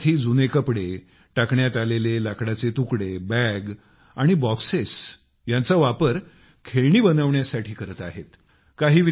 हे विद्यार्थी जुने कपडे टाकण्यात आलेले लाकडाचे तुकडे बॅग आणि बॉक्सेसचा वापर खेळणी बनवण्यासाठी करत आहेत